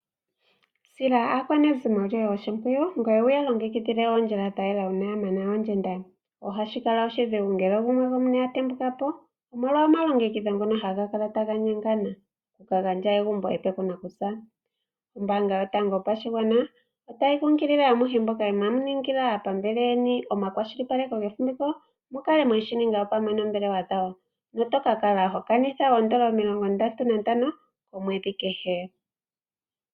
Sila aakwanezimo yoye oshimpwiyu ngoye wu ya longekidhile ondjila yatalela una ya mana ondjenda. Ohashi kala oshidhigu ngele gumwe atembukapo omolwa omalongekidho ngono ha ga kalapo taga nyengana oku gandja egumbo epe ku nakusa. Ombanga yotango yopashigwana otayi nkunkilile amuhe mboka inamu ningila aapambele yeni omakwashilipaleko ge fumviko opo mukale mweshi ninga opamwe noombilewa dhawo notoka kala ho kanitha ondola 35 omwedhi kehe.